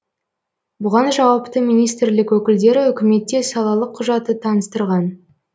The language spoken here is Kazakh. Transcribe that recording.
бұған жауапты министрлік өкілдері үкіметте салалық құжаты таныстырған